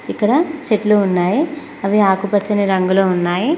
ఇక్కడ చెట్లు ఉన్నాయి అవి ఆకుపచ్చని రంగులో ఉన్నాయి.